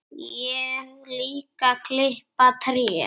Og líka klippa tré.